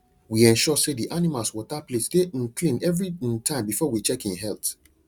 we ensure say the animals water plate dey um clean every um time before we check en health